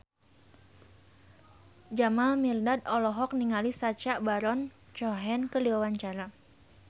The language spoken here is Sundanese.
Jamal Mirdad olohok ningali Sacha Baron Cohen keur diwawancara